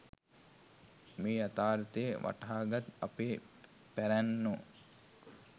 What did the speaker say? මේ යථාර්ථය වටහාගත් අපේ පැරැන්නෝ